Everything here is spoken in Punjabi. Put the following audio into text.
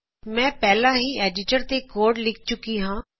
ਮੈਂ ਪਹਿਲਾ ਹੀ ਐਡੀਟਰ ਤੇ ਕੋਡ ਲਿਖ ਚੁੱਕੀ ਹਾਂ